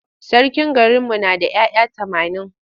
Sarkin garinmu na da ‘ya’ya tamanin.